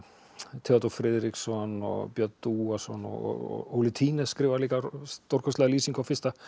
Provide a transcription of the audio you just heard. Theódór Friðriksson Björn Dúason og Óli skrifar líka stórkostlega lýsingu á fyrsta